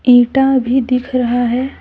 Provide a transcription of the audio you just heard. ईटा भी दिख रहा है।